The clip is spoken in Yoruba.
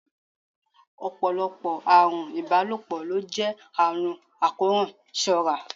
Ọ̀pọ̀lọpọ̀ àrùn ìbálòpọ̀ ló jẹ́ àrùn àkóràn, ṣọ́ ra!